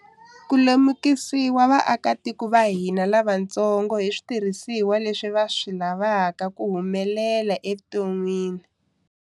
Ku lemukisiwa vaakatiko va hina lavatsongo hi switirhisiwa leswi va swi lavaka ku humelela evuton'wini.